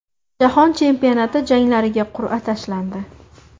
Jahon chempionati janglariga qur’a tashlandi.